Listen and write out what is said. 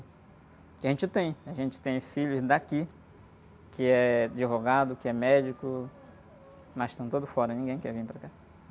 Porque a gente tem, a gente tem filhos daqui, que é... Advogado, que é médico, mas estão todos fora, ninguém quer vir para cá.